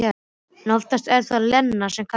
En oftast er það Lena sem kallar.